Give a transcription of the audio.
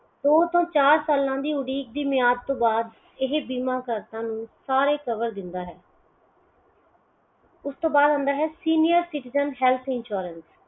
ਦੋ ਤੋਂ ਚਾਰ ਸਾਲਾਂ ਦੀ ਉਡੀਕ ਦੀ ਬੁਨਿਆਦ ਤੋਂ ਬਾਅਦ ਇਹ ਬੀਮਾ ਕਰਤਾ ਨੂੰ ਸਾਰੇ cover ਦਿੰਦਾ ਹੈ